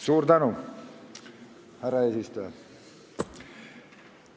Suur tänu, härra eesistuja!